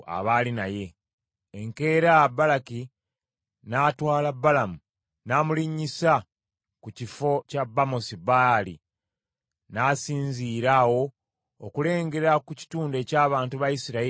Enkeera Balaki n’atwala Balamu n’amulinnyisa ku bifo bya Bamosi Baali , n’asinziira awo okulengera ku kitundu eky’abantu ba Isirayiri abaali okumpi.